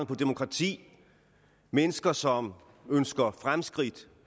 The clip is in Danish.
på demokrati mennesker som ønsker fremskridt